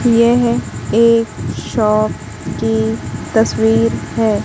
यह एक शॉप की तस्वीर है।